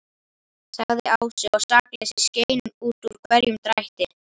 sagði Ási, og sakleysið skein út úr hverjum drætti.